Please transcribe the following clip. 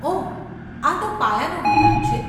ઓહ, આ તો પાયાનું વિધાન છે.